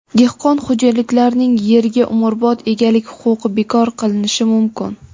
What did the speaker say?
Dehqon xo‘jaliklarining erga umrbod egalik huquqi bekor qilinishi mumkin.